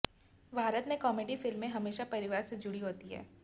भारत में कॉमेडी फिल्में हमेशा परिवार से जुड़ी होती हैं